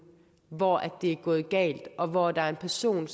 hvor det er gået galt og hvor der er en person